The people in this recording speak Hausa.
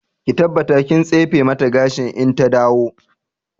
Ki tabbata kin tsefe mata gashi in ta dawo!